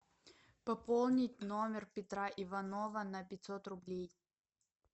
пополнить номер петра иванова на пятьсот рублей